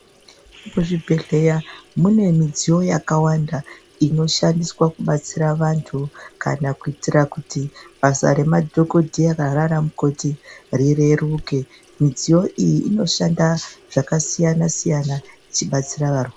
Kuzvibhedhleya mune midziyo yakawanda inoshandiswa kubatsira vantu kana kuitira kuti basa remadhokodheya nana mukoti rireruke. Midziyo iyi inoshanda zvakasiyana-siyana ichibatsira varwere.